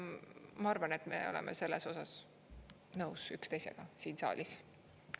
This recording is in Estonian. Ma arvan, et me oleme selles osas nõus üksteisega siin saalis.